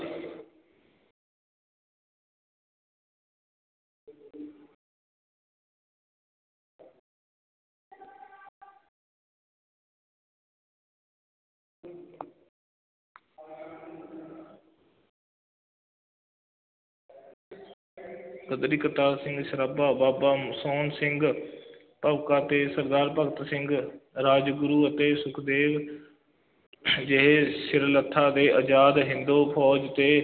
ਗਦਰੀ ਕਰਤਾਰ ਸਿੰਘ ਸਰਾਭਾ, ਬਾਬਾ ਸੋਹਣ ਸਿੰਘ ਤੇ ਸਰਦਾਰ ਭਗਤ ਸਿੰਘ, ਰਾਜਗੁਰੂ ਅਤੇ ਸੁਖਦੇਵ ਅਜਿਹੇ ਸਿਰ ਲੱਥਾ ਅਤੇ ਆਜ਼ਾਦ ਹਿੰਦੂ ਫੌਜ ਦੇ